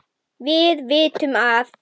Við vitum að